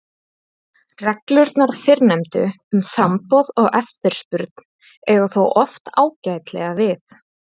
Reglurnar fyrrnefndu um framboð og eftirspurn eiga þó oft ágætlega við.